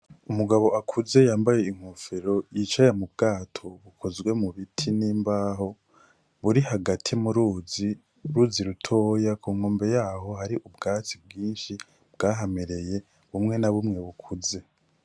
Umugabo akuze yambaye inkofero yicaye mu bwato bukozwe mu biti n'imbaho buri hagati mu ruzi ruzi rutoya ku nkombe yaho hari ubwatsi bwinshi bwahamereye bumwe na bumwe bukuze.